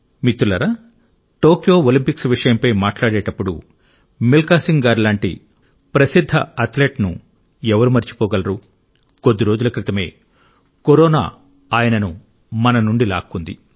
మిత్రులారా Tokyo Olympics విషయంపై మాట్లాడేటప్పుడు మిల్కా సింగ్ గారి లాంటి ప్రసిద్ధ అథ్లెట్ను ఎవరు మరచిపోగలరు కొద్ది రోజుల క్రితమే కరోనా ఆయనను మన నుండి లాక్కుంది